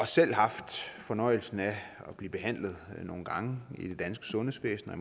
selv haft fornøjelsen af at blive behandlet nogle gange i det danske sundhedsvæsen og